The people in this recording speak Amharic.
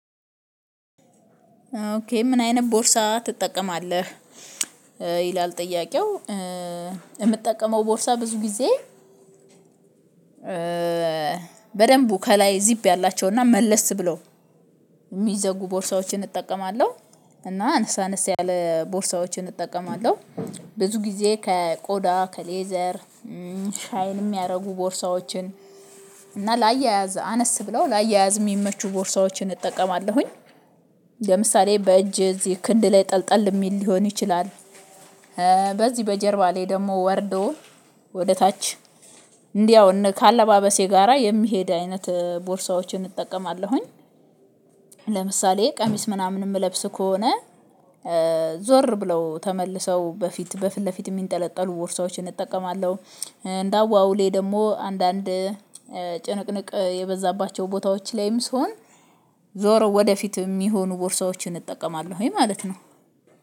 ኦኬ ምን አይነት ቦርሳ ትጠቀማለህ? ይላል ጥያቄው የምጠቀመው ቦርሳ ብዙ ጊዜ በደንብ ከላይ ዚፕ ያላቸውና መለስ ብለው የሚዘጉ ቦርሳዎችን እጠቀማለሁ። እና አነሳ አነሳ ያለ ቦርሳዎችን እጠቀማለሁ። ብዙ ጊዜ ከቆዳ ከሌዘር ሻይን የሚያደርጉ ቦርሳዎችን እና ላያያዝ አነስ ብለው ላያያዝ የሚመቹ ቦርሳዎችን እጠቀማለሁኝ። ለምሳሌ በእጅ እዚህ ክንድ ላይ ጠልጠል የሚል ሊሆን ይችላል። በዚህ በጀርባ ላይ ደግሞ ወርዶ ወደ ታች እንዲያው ከአለባበሴ ጋራ የሚሄድ አይነት ቦርሳዎችን እጠቀማለሁኝ። ለምሳሌ ቀሚስ ምናምን የምለብስ ከሆነ ዞር ብለው ተመልሰው በፊት በፊት ለፊት የሚንጠለጠሉ ቦርሳዎችን እጠቀማለሁ። እንደ አዋውሌ ደግሞ አንዳንድ ጭንቅንቅ የበዛባቸው ቦታዎች ላይም ስሆን ዞረው ወደፊት የሚሆኑ ቦርሳዎችን እጠቀማለሁኝ ማለት ነው